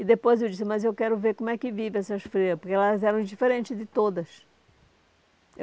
E depois eu disse, mas eu quero ver como é que vivem essas freiras, porque elas eram diferentes de todas.